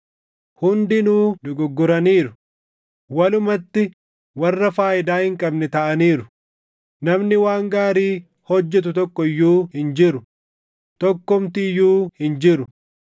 Hundinuu dogoggoraniiru; walumatti warra faayidaa hin qabne taʼaniiru; namni waan gaarii hojjetu tokko iyyuu hin jiru; tokkumti iyyuu hin jiru.” + 3:12 \+xt Far 14:1‑3; 53:1‑3; Lal 7:20\+xt*